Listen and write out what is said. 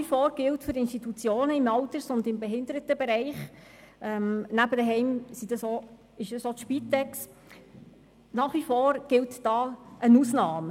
Für die Institutionen im Alters- und Behindertenbereich gilt – nebst den Heimen auch für die Spitex – nach wie vor eine Ausnahme.